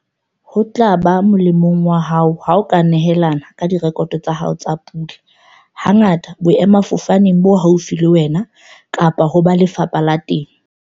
Ho tla ba molemong wa hao ha o ka nehelana ka direkoto tsa hao tsa pula, hangata boemafofaneng bo haufi le wena kapa ho ba Lefapha la Temo.